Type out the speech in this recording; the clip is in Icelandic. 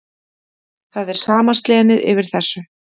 Það er sama slenið yfir þessu.